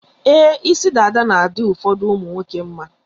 Ee, isi dada na-adị ụfọdụ ụmụnwoke mma.